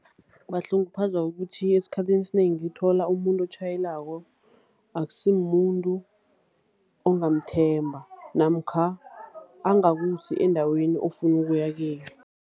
Bahlunguphazwa kukuthi esikhathini esinengi uthola umuntu otjhayelako akusi mumuntu ongamthemba. Namkha angakusi endaweni ofuna ukuya kiyo.